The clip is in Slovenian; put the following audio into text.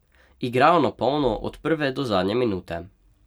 Igrajo na polno od prve do zadnje minute.